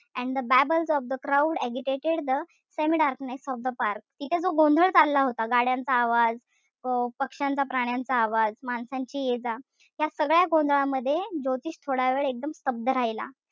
And the babbles of the crowd agitated the semi darkness of the park तिथे जो गोंधळ चालला होता. गाड्यांचा आवाज अं पक्ष्यांचा, प्राण्यांचा आवाज, माणसांची येजा. त्या सगळ्या गोंधळामध्ये ज्योतिष थोडावेळ एकदम स्तब्ध राहिला.